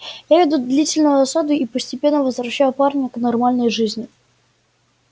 я веду длительную осаду и постепенно возвращаю парня к нормальной жизни